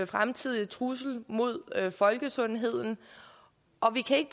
fremtidig trussel mod folkesundheden og vi kan ikke